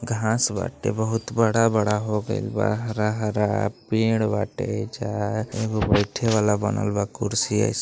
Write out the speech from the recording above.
घांस बाटे बहुत बड़ा बड़ा हो गइल बाहरा -हरा पेड़ बाटेजहाँ एगो बइठे वाला बनल बा कुर्सी अइसन।